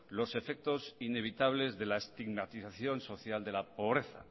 los efectos inevitables de la estigmatización social de la pobreza